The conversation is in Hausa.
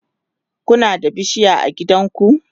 Kuna da bishiya a gidanku?